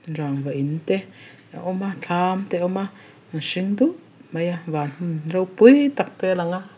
rangva in te a awm a thlam te a awm a an hring dup mai a van hmun ropui tak te a lang a.